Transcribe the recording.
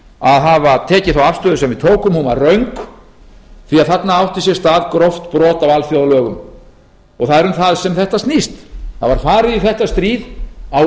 að hafa tekið þá afstöðu sem við tókum hún var röng því að þarna átti sér stað gróft brot á alþjóðalögum það er um það sem þetta snýst það var farið í þetta stríð á